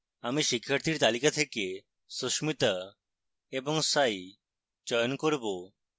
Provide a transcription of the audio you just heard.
আমি শিক্ষার্থীর তালিকা থেকে susmitha এবং sai চয়ন করব